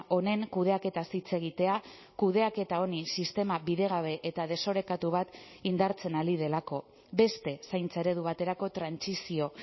honen kudeaketaz hitz egitea kudeaketa honi sistema bidegabe eta desorekatu bat indartzen ari delako beste zaintza eredu baterako trantsizio